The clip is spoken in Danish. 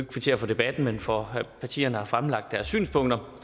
kvittere for debatten men for at partierne har fremlagt deres synspunkter